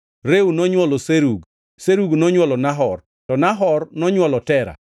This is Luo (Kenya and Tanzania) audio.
Reu nonywolo Serug. Serug nonywolo Nahor, to Nahor nonywolo Tera.